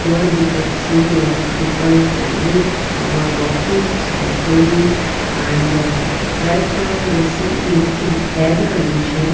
here we can see lot of people standing some are walking some are playing and right now the sea is in condition.